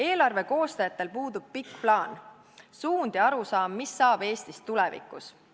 Eelarve koostajatel puudub pikk plaan, suund ja arusaam, mis saab Eestist tulevikus.